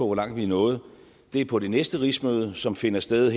hvor langt vi er nået er på det næste rigsmøde som finder sted